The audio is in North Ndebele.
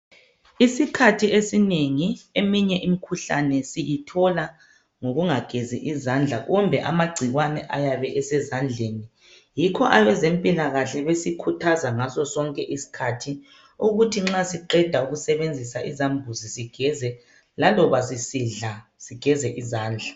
Isikhathi esinengi eminye imikhuhlane siyithola ngokungagezi izandla kumbe amagciwane ayabe esezandleni. Yikho abezempilakahle besikhuthaza ngaso sonke iskhathi ukuthi nxa siqeda ukusebenzisa izambuzi sigeze, laloba sisidla, sigeze izandla.